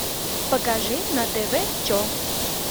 покажи на тв че